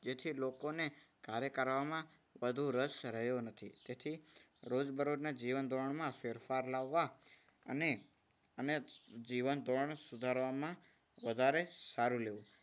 જેથી લોકોને કાર્ય કરવામાં વધુ રસ રહ્યો નથી. તેથી રોજબરોજના જીવન ધોરણમાં ફેરફાર લાવવા અને અને જીવન ધોરણ સુધારવામાં વધારે સારું લેવું.